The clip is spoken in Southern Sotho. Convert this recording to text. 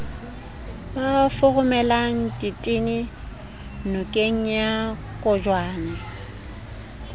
ba foromelang ditene nokengya kgopjane